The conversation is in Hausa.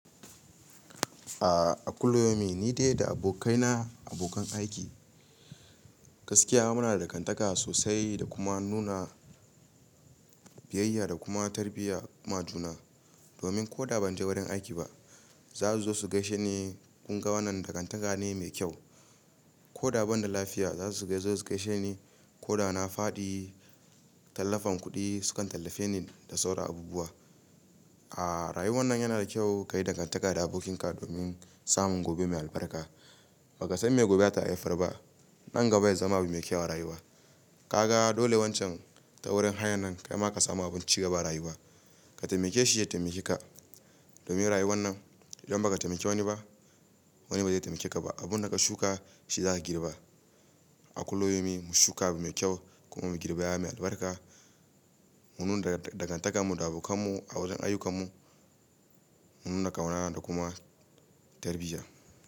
A a kullumi ni dai da abokaina, abokan aiki, gaskiya muna da dangantaka sosai da kuma nuna biyayya da kuma tarbiyya ma juna. Domin ko da ban je wurin aiki ba, za su zo su gaishe ni. Kun ga wannan dangantaka ne mai kyau. Ko da ban da lafiya za su dai zo su gaishe ni. Ko da na faɗi tallafen kuɗi, su kan tallafe ni da sauran abubuwa. A a rayuwar nan yana da kyau ka yi dangantaka da abokanka domin samun gobe mai albarka. Baka san me gobe za ta haifar ba. Nan gaba ya zama abun mai kyau a rayuwa. Ka ga dole wancan taurin hayan nan kai ma ka samu abin cigaba a rayuwa. Ka taimake shi, ya taimake ka. Domin rayuwar nan idan ba ka taimake wani ba, wani ba zai taimake ka ba. Abun da ka shuka shi za ka girba. A kullumi mu shuka mai kyau kuma mu girbe kaya mai albarka. Mu nuna dangantaka mu da abokanmu a wajen ayyukamu, mu nuna ƙauna da kuma tarbiyya.